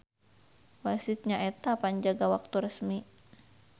Wasit nyaeta panjaga waktu resmi.